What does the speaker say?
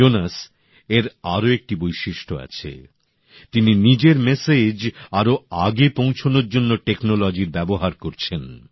জোনেসের আরো একটি বৈশিষ্ট্য আছে তিনি নিজের মেসেজ সকলের কাছে পৌঁছানোর জন্য প্রযুক্তির ব্যবহার করছেন